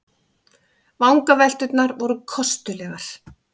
Vangavelturnar voru kostulegar.